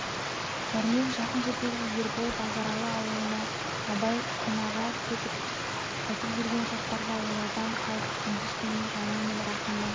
дәрмен жақын жердегі ербол базаралы аулына абай қонаға кетіп қайтып жүрген шақтарда олардан қалып күндіз-түнін жаңыл мен рахымның